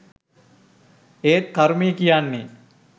ඒත් කරුමේ කියන්නේ